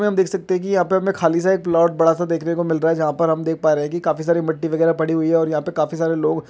में हम देख सकते हैं की यहाँ पे हमें खाली साइड प्लॉट बड़ा सा देखने को मिल रहा है जहाँ पर हम देख पा रहें हैं की काफी सारी मिट्टी वगैरा पड़ी हुई है और यहाँ पे काफी सारे लोग --